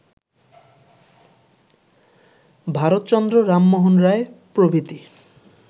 ভারতচন্দ্র, রামমোহন রায়, প্রভৃতি